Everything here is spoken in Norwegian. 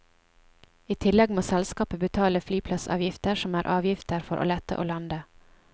I tillegg må selskapet betale flyplassavgifter, som er avgifter for å lette og lande.